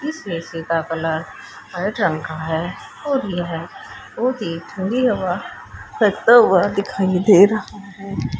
इस ए_सी का colour white रंग का है और यह बहुत ही ठंडी हवा करता हुआ दिखाई दे रहा है।